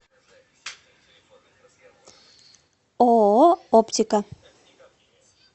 ооо оптика